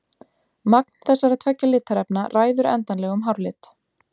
Magn þessara tveggja litarefna ræður endanlegum hárlit.